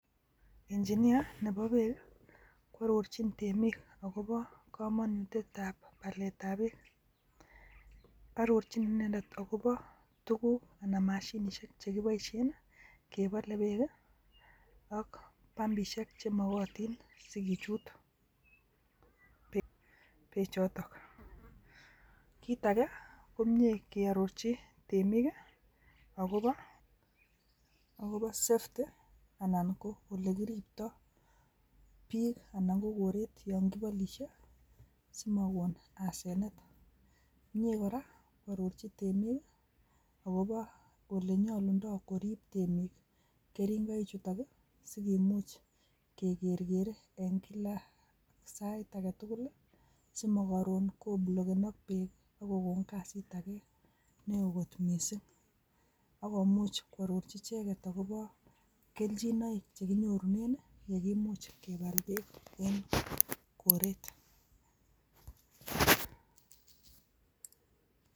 Engeneer nebo beek ko ororchin temik akobo komonutyet tab balet ab beek arorchi inendet akopo tukuk anan mashinishek chekiboishen kebole beek ak pumbishek chemokotin sikichut beek choton, kit agee ko mie keorochi temik kii akobo safety anan ko ole kiripto bik anan ko koret yon kibolishen simowon asenet, mie koraa kwororchi temek kii akobo ole nyolundo korib temik keringoik chutok kii sikimuch ke kerkere en kila sait aketukul simokorun koblokenok beek ak kokon kasit age neo kot missing, ak komuch kwororchi icheket akobo keljinoik chekinyorunen yeimuch kebal beek en koret.